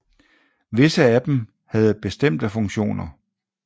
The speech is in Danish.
Visse af dem havde bestemte funktioner